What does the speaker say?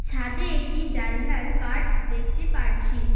ছাদে একটি জানলার কাঠ দেখতে পারছি।